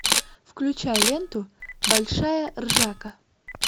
включай ленту большая ржака